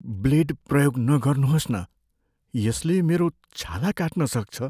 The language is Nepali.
ब्लेड प्रयोग नगर्नुहोस् न। यसले मेरो छाला काट्न सक्छ।